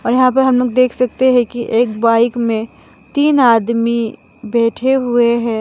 और यहां पर हमलोग देख सकते हैं कि एक बाइक में तीन आदमी बैठे हुए हैं।